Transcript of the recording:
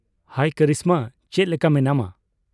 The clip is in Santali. ᱦᱟᱭ ᱠᱚᱨᱤᱥᱢᱟ, ᱪᱮᱫ ᱞᱮᱠᱟ ᱢᱮᱱᱟᱢᱟ ?